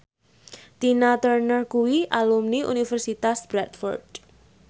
Tina Turner kuwi alumni Universitas Bradford